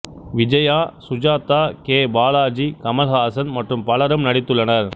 Vijaya Sujatha K Balaji Kamal Haasan மற்றும் பலரும் நடித்துள்ளனர்